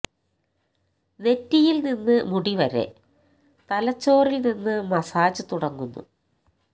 നെറ്റിയിൽ നിന്ന് മുടി വരെ തലച്ചോറിൽ നിന്ന് മസാജ് തുടങ്ങുന്നു